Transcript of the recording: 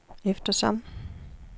eftersom